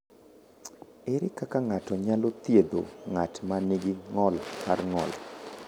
Ere kaka ng’ato nyalo thiedho ng’at ma nigi ng’ol mar ng’ol?